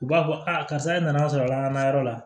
U b'a fɔ a karisa e nana sɔrɔ lakanayɔrɔ la